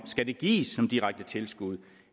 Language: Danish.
skal gives som direkte tilskud